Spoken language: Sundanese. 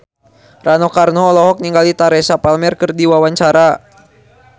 Rano Karno olohok ningali Teresa Palmer keur diwawancara